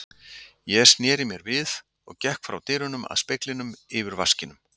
Ég sneri mér við, gekk frá dyrunum að speglinum yfir vaskinum.